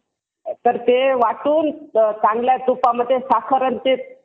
आता ते वाटून चांगले तुपा मध्ये साखर आणि तूप